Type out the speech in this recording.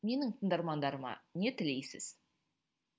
менің тыңдармандарыма не тілейсіз